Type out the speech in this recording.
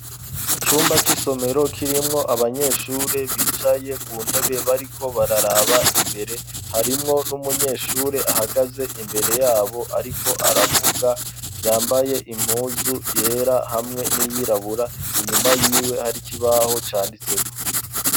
Icumba c'isomero kirimwo abanyeshuri bicaye ku ntebe bariko bararaba imbere harimwo n'umunyeshuri ahagaze imbere yabo ariko aravuga yambaye impuzu yera hamwe n'iyirabura, inyuma yiwe hari kibaho canditse ko.